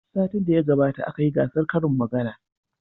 Satin da ya gabata aka yi gasar karin magana.